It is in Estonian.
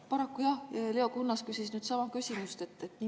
Paraku Leo Kunnas küsis sama küsimuse.